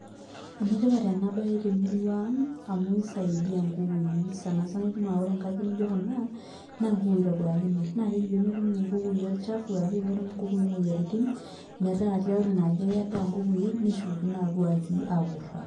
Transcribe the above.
Enetipat enbaye temurua ang' amu kisaidia nkukui sana sana ore nkajijik nijo kuna naa nkukui itobiraki naa keji pee metum nkukui orchafu arrashu aa pee metum nkukui imoyiaritin metaa tiatua ina aji ake endaa nkukui neshukokino atua aji aapuo airrag.